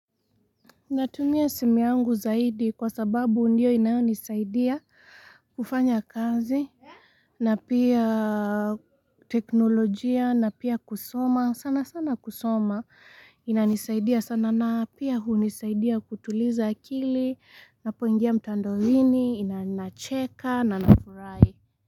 Natumia simu yangu zaidi kwa sababu ndiyo inayonisaidia, kufanya kazi, na pia teknolojia, na pia kusoma. Sana sana kusoma, inanisaidia sana na pia hunisaidia kutuliza akili, ninapoingia mtandowini, ina nacheka, na nafurahi.